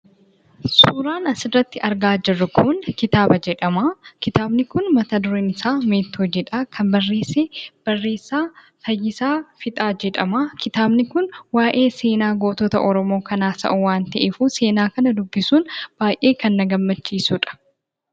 Suuraan asirratti argaa jirru kun kitaaba jedhama. Kitaabni kun mata dureen isaa"meettoo" jedha. Kan barreesse, barreessaa Fayyisaa Fiixaa jedhama. Kitaabni kun waayee seenaa gootota oromoo kan haasa'u waan ta'eefu seenaa kana dubbisuun baayyee kan na gammachiisudha.